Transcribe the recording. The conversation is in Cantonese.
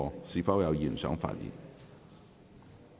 是否有議員想發言？